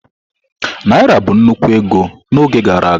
Naira bụ nnukwu ego na oge gara aga.